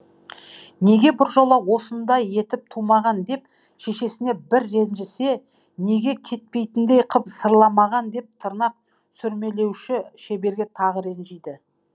неге біржола осындай етіп тумаған деп шешесіне бір ренжісе неге кетпейтіндей қып сырламаған деп тырнақ сүрмелеуші шеберге тағы ренжиді